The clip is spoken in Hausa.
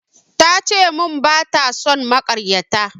Ta ce mun bata son makaryata